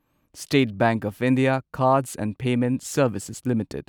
state Bank of India Cards and Payment Services limited